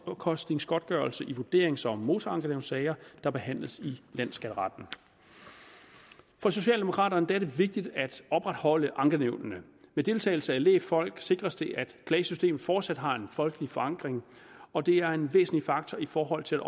omkostningsgodtgørelse i vurderings og motorankenævnssager der behandles i landsskatteretten for socialdemokraterne er det vigtigt at opretholde ankenævnene med deltagelse af lægfolk sikres det at klagesystemet fortsat har en folkelig forankring og det er en væsentlig faktor i forhold til